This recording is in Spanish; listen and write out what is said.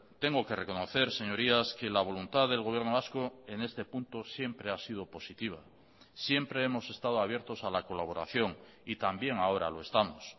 tengo que reconocer señorías que la voluntad del gobierno vasco en este punto siempre ha sido positiva siempre hemos estado abiertos a la colaboración y también ahora lo estamos